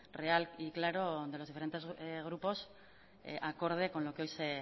real y claro de los diferentes grupos acorde con lo que hoy